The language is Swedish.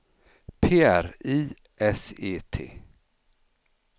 P R I S E T